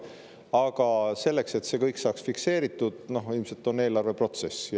Aga selleks, et see kõik saaks fikseeritud, ongi eelarveprotsess.